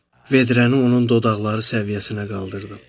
Vedrəni onun dodaqları səviyyəsinə qaldırdım.